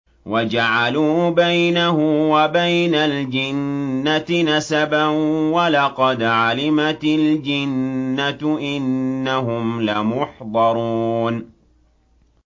وَجَعَلُوا بَيْنَهُ وَبَيْنَ الْجِنَّةِ نَسَبًا ۚ وَلَقَدْ عَلِمَتِ الْجِنَّةُ إِنَّهُمْ لَمُحْضَرُونَ